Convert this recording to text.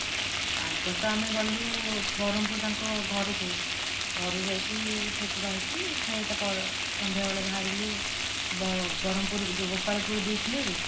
ଆଗ ତ ଆମେ ଗଲୁ ବ୍ରହ୍ମପୁର ତାଙ୍କ ଘରକୁ ଘରୁ ଯାଇକି ସେଠି ରହିକି ଫେଣି ତା ପର ସନ୍ଧ୍ୟାବେଳେ ବାହାରିଲୁ ବ ବ୍ରହ୍ମପୁର ଯୋଉ ଗୋପାଳପୁର beach ନୁହେଁ କି